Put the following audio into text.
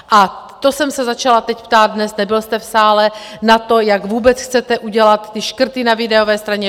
A to jsem se začala teď ptát dnes, nebyl jste v sále, na to, jak vůbec chcete udělat ty škrty na výdajové straně?